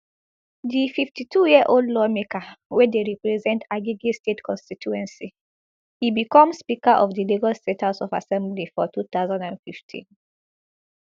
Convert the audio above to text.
di fifty-twoyearold lawmaker wey dey represent agege state constituency i become speaker of di lagos state house of assembly for two thousand and fifteen